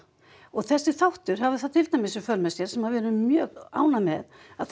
og þessi þáttur hafði það til dæmis í för með sér sem við erum mjög ánægð með